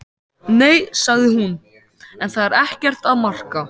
Nei, sagði hún, en það er ekkert að marka.